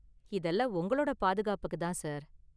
இதெல்லாம் உங்களோட பாதுகாப்புக்கு தான், சார்.